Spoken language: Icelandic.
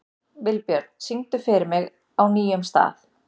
Vilbjörn, syngdu fyrir mig „Á nýjum stað“.